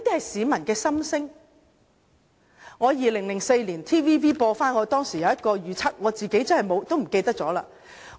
TVB 重播我在2004年的一個預測，我自己也忘記了。